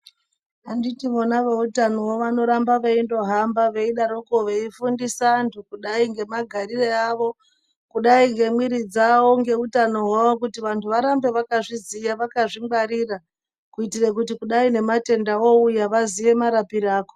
Anditi vona veitano voo vanorambe veindohamba veidaroko veifundisa antu kudai nemagariro awo kudai ngemwiri dzavo ngeutano hwavo vantu varambe vakazviziya vakadzingwarira kuitira kuti kudai nematenda ouya vaziye marapiro azvo .